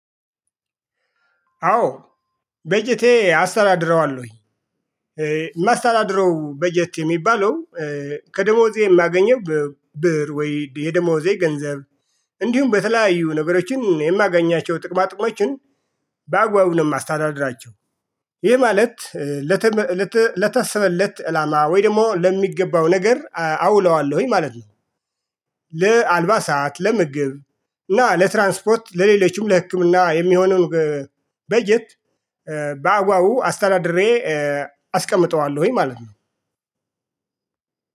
አዎ። በጀቴ አስተዳድረዋለሁኝ የማስተዳድረው በጀት የሚባለው ከደሞዜ የማገኘው ብር ወይ የደሞዜ ገንዘብ እንዲሁም በተለያዩ ነገሮችን የማገኛቸው ጥቅማጥቅሞችን በአግባቡ ነው የማስተዳድራቸው። ይህ ማለት ለታሰበለት አላማ ወይ ደግሞ ለሚገባው ነገር አውለዋለሁኝ ማለት ነው። ለአልባሳት ለምግብ እና ለትራንስፖርት ለሌሎችም ለህክምና የሚሆነውን በጀት በአግባቡ አስተዳድሬ አስቀምጠዋለሁኝ ማለት ነው።